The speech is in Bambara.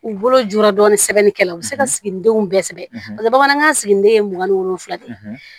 U bolo jukɔrɔ dɔɔnin sɛbɛnni kɛlaw u bɛ se ka siginidenw bɛɛ sɛbɛn a la bamanankan sigiden ye mugan ni wolonfila ye